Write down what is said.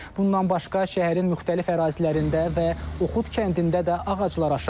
Bundan başqa şəhərin müxtəlif ərazilərində və Oxud kəndində də ağaclar aşıb.